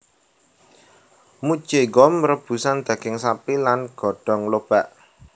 Mucheonggom rebusan daging sapi lan godong lobak